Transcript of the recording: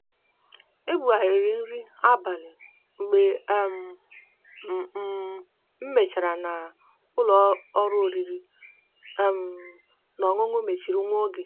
e bugharịrị nri abalị mgbe um m um matachara na ụlọọrụ oriri um na ọṅụṅụ mechiri nwa oge.